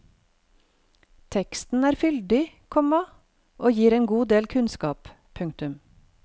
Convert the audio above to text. Teksten er fyldig, komma og gir en god del kunnskap. punktum